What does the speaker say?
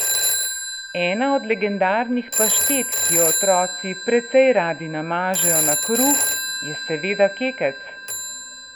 Ena od legendarnih paštet, ki jo otroci precej radi namažejo na kruh, je seveda kekec.